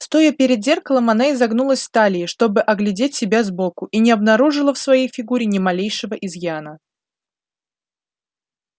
стоя перед зеркалом она изогнулась в талии чтобы оглядеть себя сбоку и не обнаружила в своей фигуре ни малейшего изъяна